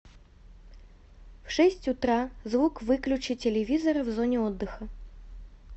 в шесть утра звук выключи телевизора в зоне отдыха